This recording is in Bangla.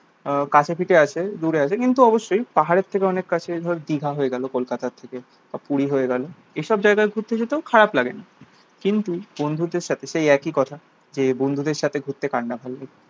আহ কাছেপিঠে আছে দূরে আছে কিন্তু অবশ্যই পাহাড়ের থেকে অনেক কাছে ধর দীঘা হয়ে গেল কলকাতা থেকে বা পুরি হয়ে গেল। এইসব জায়গায় ঘুরতে যেতেও খারাপ লাগেনা। কিন্তু বন্ধুদের সাথে সেই একই কথা যে, বন্ধুদের সাথে ঘুরতে কার না ভালো লাগে?